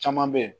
Caman bɛ yen